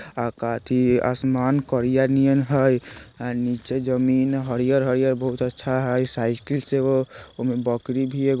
आकाती आसमान कोरिया नियन हय आ नीचे जमीन हरियर-हरियर बहुत अच्छा हय साइकिल से एगो ओमें बकरी भी एगो --